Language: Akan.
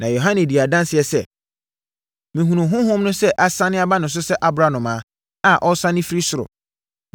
Na Yohane dii adanseɛ sɛ, “Mehunuu Honhom no sɛ asiane aba ne so sɛ aborɔnoma a ɔresiane firi soro.